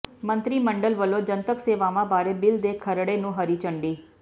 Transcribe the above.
ਮੰਤਰੀ ਮੰਡਲ ਵੱਲੋਂ ਜਨਤਕ ਸੇਵਾਵਾਂ ਬਾਰੇ ਬਿੱਲ ਦੇ ਖਰੜੇ ਨੂੰ ਹਰੀ ਝੰਡੀ